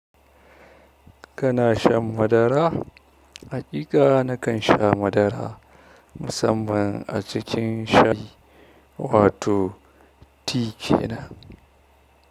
Kana shan madara? Haƙiƙa na kan sha madara musamman a cikin shayi, wato tea ke nan.